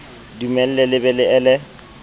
dumelle le be le ele